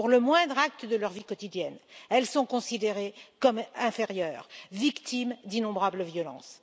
pour le moindre acte de leur vie quotidienne, elles sont considérées comme inférieures, victimes d'innombrables violences.